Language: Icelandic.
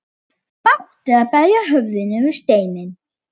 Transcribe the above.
Bágt er að berja höfðinu við steinninn.